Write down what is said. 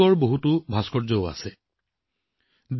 চোলা যুগৰ বহু ভাস্কৰ্যও এইবোৰত অন্তৰ্ভুক্ত কৰা হৈছে